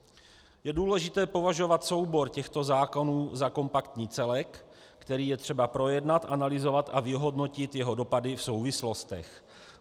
Je důležité považovat soubor těchto zákonů za kompaktní celek, který je třeba projednat, analyzovat a vyhodnotit jeho dopady v souvislostech.